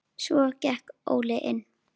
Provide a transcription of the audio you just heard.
Svo gekk Óli inn.